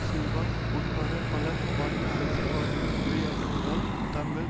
சில்வா உட்பட பலம் வாய்ந்த அரசியல்வாதிகள் உரையாற்றவுள்ளதால் தாங்கள்